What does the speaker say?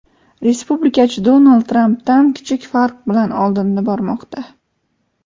respublikachi Donald Trampdan kichik farq bilan oldinda bormoqda.